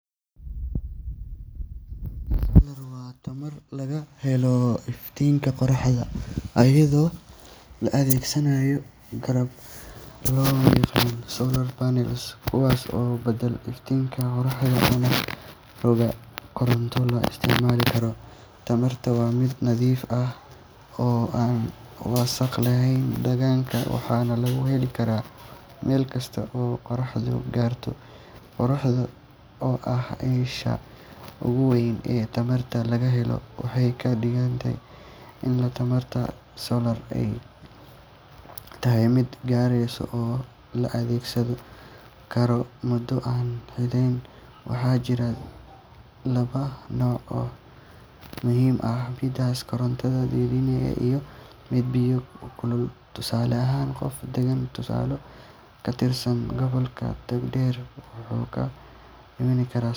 Tamarta solar waa tamar laga helo iftiinka qorraxda iyadoo la adeegsanayo qalab loo yaqaan solar panels, kuwaas oo badala iftiinka qorraxda una roga koronto la isticmaali karo. Tamartan waa mid nadiif ah oo aan wasakhayn deegaanka, waxaana laga heli karaa meel kasta oo qorraxdu gaarto. Qorraxda oo ah isha ugu weyn ee tamartan laga helo, waxay ka dhigan tahay in tamarta solar ay tahay mid aan dhammaanayn oo la adeegsan karo muddo aan xadidnayn. Waxaa jira laba nooc oo muhiim ah: midda koronto dhaliya iyo midda biyo kululeeya. Tusaale ahaan, qof degan tuulo ka tirsan gobolka Togdheer wuxuu ku rakiban karaa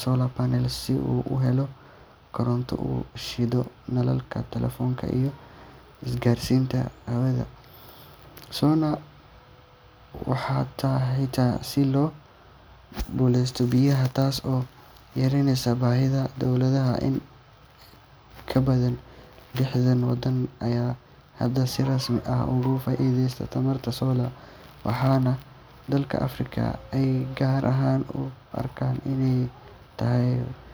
solar panel si uu u helo koronto uu ku shido nalalka, taleefanka iyo biyo-fadhiye. Waxaa sidoo kale suurto gal ah in la isticmaalo solar water heaters si loo kululeeyo biyaha, taas oo yareyneysa baahida tamarta kale sida shidaalka ama korontada dowladda. In ka badan lixdan waddan ayaa hadda si rasmi ah uga faa’iideysta tamarta solar, waxaana dalalka Afrika ay gaar ahaan u arkaan inay tahay